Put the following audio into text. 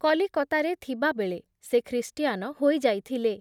କଲିକତାରେ ଥିବାବେଳେ ସେ ଖ୍ରୀଷ୍ଟିଆନ ହୋଇଯାଇଥିଲେ ।